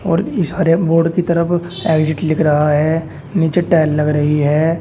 और इस हरे बोर्ड की तरफ एग्जिट लिख रहा है नीचे टाइल लग रही है।